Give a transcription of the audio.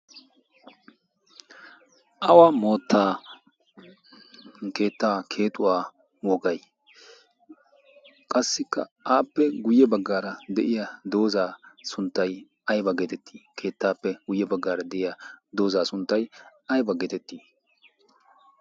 awa moottaan keettaa keexuwaa wogay qassikka aappe guyye baggaara de'iya doozaa sunttay aiba geetettii? keettaappe guyye baggaara de''ya doozaa sunttay aiba geetettii?